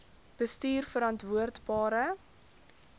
bestuurverantwoordbare